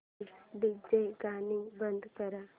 please DJ गाणी बंद कर